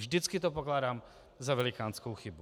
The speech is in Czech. Vždycky to pokládám za velikánskou chybu.